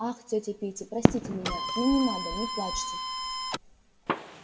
ах тётя питти простите меня ну не надо не плачьте